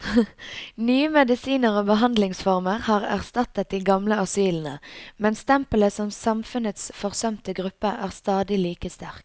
Nye medisiner og behandlingsformer har erstattet de gamle asylene, men stempelet som samfunnets forsømte gruppe er stadig like sterkt.